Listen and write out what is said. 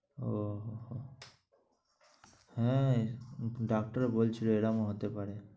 ও হো হো। হ্যাঁ, ডাক্তারও বলছিল এরম ও হতে পারে।